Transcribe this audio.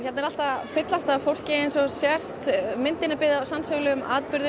er allt að fyllast af fólki myndin er byggð á sannsögulegum atburðum